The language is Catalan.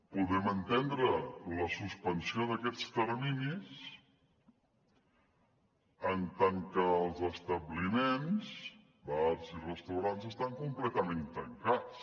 podem entendre la suspensió d’aquests terminis en tant que els establiments bars i restaurants estan completament tancats